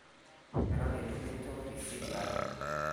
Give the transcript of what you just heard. eton itu kincho risiti ai